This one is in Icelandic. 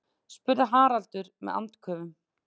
spurði Haraldur með andköfum.